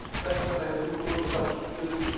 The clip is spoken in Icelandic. En hvers vegna hefur þú hlotið sama hlutskipti